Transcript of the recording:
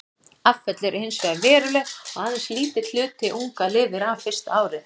Afföll eru hins vegar veruleg og aðeins lítill hluti unga lifir af fyrsta árið.